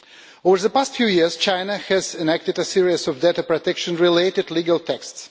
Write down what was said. Over the past few years, China has enacted a series of data protection related legal texts.